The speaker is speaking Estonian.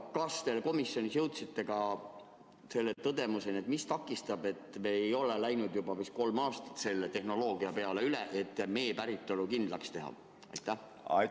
Kas te komisjonis jõudsite ka selle küsimuseni, mis takistab meid juba kolm aastat üle minemast mee päritolu kindlakstegemise tehnoloogiale?